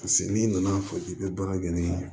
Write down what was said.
Paseke n'i nan'a fɔ k'i bɛ baara kɛ ni